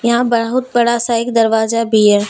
यहां बहुत बड़ा सा एक दरवाजा भी है।